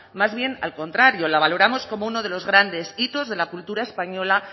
más bien al contrario la valoramos como uno de los grandes hitos de la cultura española